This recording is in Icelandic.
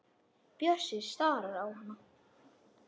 Bjössi starir á hana.